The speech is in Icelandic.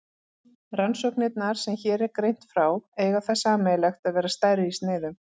Rannsóknirnar sem hér er greint frá eiga það sameiginlegt að vera stærri í sniðum.